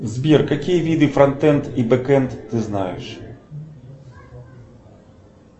сбер какие виды фронтенд и бэкенд ты знаешь